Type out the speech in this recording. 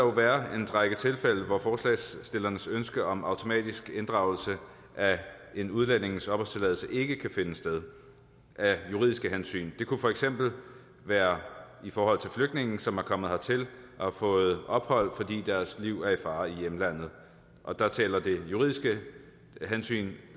være en række tilfælde hvor forslagsstillernes ønske om automatisk inddragelse af en udlændings opholdstilladelse ikke kan finde sted af juridiske hensyn det kunne for eksempel være i forhold til flygtninge som er kommet hertil og har fået ophold fordi deres liv er i fare i hjemlandet der taler det juridiske hensyn